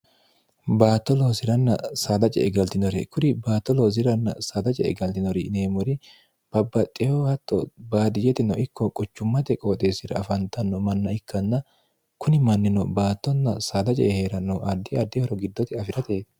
baatto loosi'ranna saadace e galtinore kuri baato loosiranna saada ce e galtinori neemmori babbaxxeho hatto baadiyetino ikko quchummate qooxeessira afantanno manna ikkanna kuni mannino baattonna saadace e hee'rannohu addi addihoro giddote afi'rate